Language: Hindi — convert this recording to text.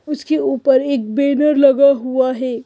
उसके ऊपर एक बैनर लगा हुआ है।